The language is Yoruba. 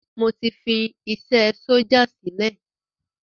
Mo ti fi isé sójà sílẹ̀